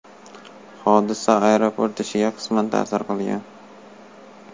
Hodisa aeroport ishiga qisman ta’sir qilgan.